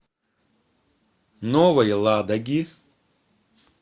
новой ладоги